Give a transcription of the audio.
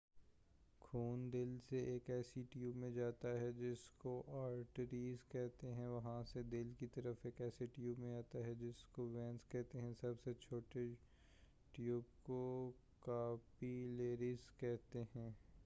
خون دل سے ایک ایسے ٹیوب میں جاتا ہے جس کو آرٹریز کہتے ہیں اور وہاں سے دل کی طرف ایک ایسے ٹیوب میں آتا ہے جس کو وین کہتے ہیں سب سے چھوٹے ٹیوب کو کاپی لریز کہتے ہیں